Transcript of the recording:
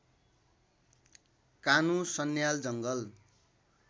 कानु सन्याल जङ्गल